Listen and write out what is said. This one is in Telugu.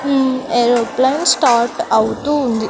ఉమ్ ఏరోప్లేన్ స్టార్ట్ అవుతూ ఉంది.